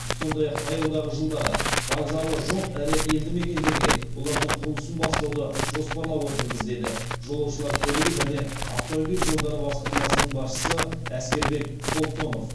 сондай ақ таяудағы жылдары вокзалы жоқ ірі елді мекендерде олардың құрылысын бастауды жоспарлап отырмыз деді жолаушылар көлігі және автомобиль жолдары басқармасының басшысы әскербек холтонов